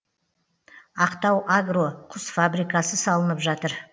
ақтауагро құс фабрикасы салынып жатыр